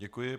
Děkuji.